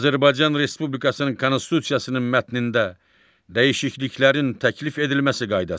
Azərbaycan Respublikasının Konstitusiyasının mətnində dəyişikliklərin təklif edilməsi qaydası.